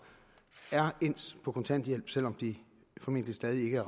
er endt på kontanthjælp selv om de formentlig stadig ikke